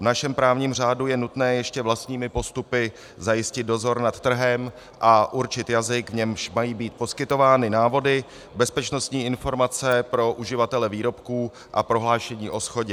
V našem právním řádu je nutné ještě vlastními postupy zajistit dozor nad trhem a určit jazyk, v němž mají být poskytovány návody, bezpečnostní informace pro uživatele výrobků a prohlášení o shodě.